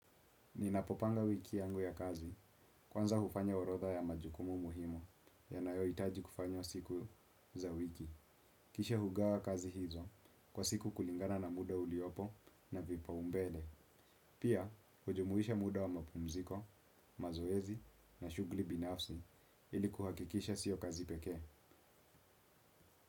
Ninapopanga wiki yangu ya kazi, kwanza hufanya orotha ya majukumu muhimu, yanayo itaji kufanywa siku za wiki. Kisha hugawa kazi hizo, kwa siku kulingana na muda uliopo na vipa umbele. Pia, hujumuisha muda wa mapumziko, mazoezi na shugli binafsi ili kuhakikisha sio kazi peke.